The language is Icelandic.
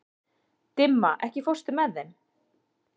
Dimma, ekki fórstu með þeim?